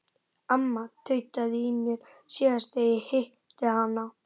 Amma tautaði í mér síðast þegar ég hitti hana.